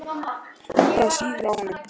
Það sýður á honum.